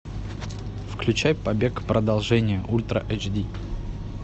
включай побег продолжение ультра эйч ди